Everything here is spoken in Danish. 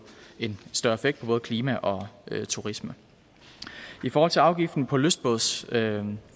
en større effekt på både klima og turisme i forhold til afgiften på lystbådsforsikringer